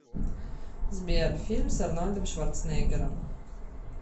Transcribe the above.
сбер фильм с арнольдом шварцнеггером